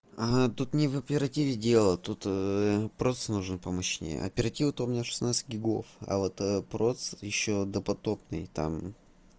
ага тут не в оперативной дело тут процессор нужен помощнее оперативная то у меня шестнадцать гигабайт а вот процессор ещё допотопный там